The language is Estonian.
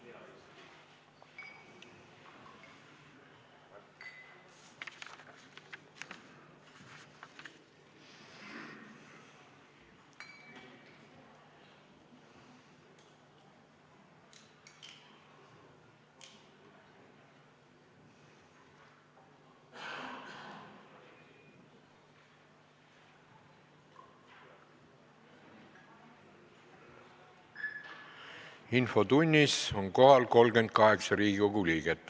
Kohaloleku kontroll Infotunnis on kohal 38 Riigikogu liiget.